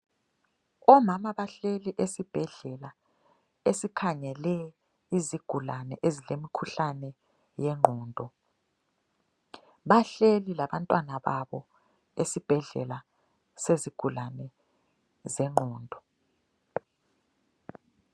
Omama bahleli esibhedlela esikhangele izigulane ezilemkhuhlane yengondo. Bahleli labantwana babo esibhedlela sezigulane zengqondo.